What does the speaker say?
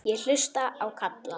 Ég hlusta á Kalla.